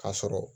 Ka sɔrɔ